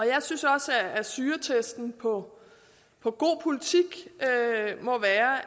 jeg synes også at syretesten på på god politik må være